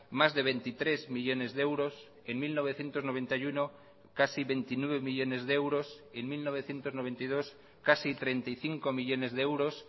más de veintitrés millónes de euros en mil novecientos noventa y uno casi veintinueve millónes de euros en mil novecientos noventa y dos casi treinta y cinco millónes de euros